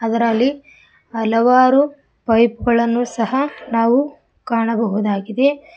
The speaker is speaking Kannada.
ಅದರಲ್ಲಿ ಹಲವಾರು ಪೈಪ್ ಗಳನ್ನು ಸಹ ನಾವು ಕಾಣಬಹುದಾಗಿದೆ.